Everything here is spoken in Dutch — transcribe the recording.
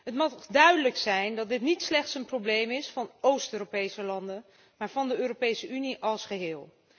Het mag duidelijk zijn dat dit niet slechts een probleem is van Oost Europese landen, maar van de Europese Unie als geheel.